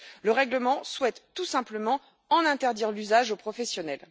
Le règlement souhaite tout simplement en interdire l'usage aux professionnels.